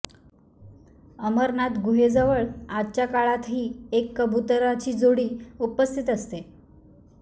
अमरनाथ गुहेजवळ आजच्या काळातही एक कबुतराची जोडी उपस्थित असते